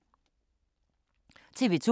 TV 2